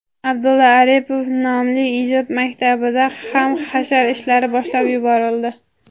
Abdulla Oripov nomli ijod maktabida ham hashar ishlari boshlab yuborildi.